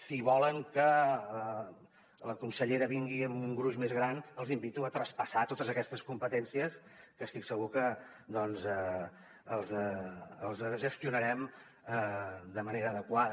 si volen que la consellera vingui amb un gruix més gran els invito a traspassar totes aquestes competències que estic segur que les gestionarem de manera adequada